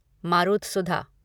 मारुतसुधा